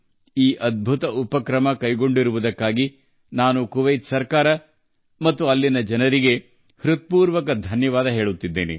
ಈ ಅದ್ಭುತ ಉಪಕ್ರಮ ಜಾರಿಗೆ ತಂದಿರುವ ಕುವೈತ್ ಸರ್ಕಾರಕ್ಕೆ ಮತ್ತು ಅಲ್ಲಿನ ಜನರಿಗೆ ನನ್ನ ಹೃದಯದಾಳದಿಂದ ಧನ್ಯವಾದಗಳನ್ನು ಅರ್ಪಿಸುತ್ತೇನೆ